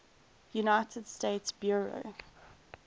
united states bureau